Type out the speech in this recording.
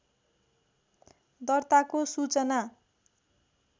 दर्ताको सूचना